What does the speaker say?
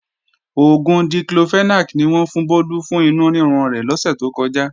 Oògùn Diclofenac ni wọ́n fún Bólú fún inú rírun rẹ̀ lọ́sè tó kọjá